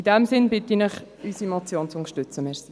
In diesem Sinne bitte ich Sie, unsere Motion zu unterstützen.